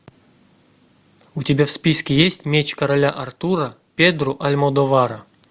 у тебя в списке есть меч короля артура педро альмодовара